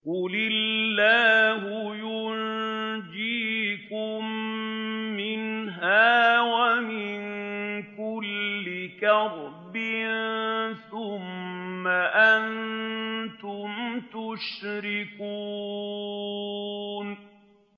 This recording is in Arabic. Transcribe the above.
قُلِ اللَّهُ يُنَجِّيكُم مِّنْهَا وَمِن كُلِّ كَرْبٍ ثُمَّ أَنتُمْ تُشْرِكُونَ